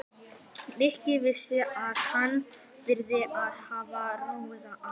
Nikki vissi að hann þyrfti að hafa hraðann á.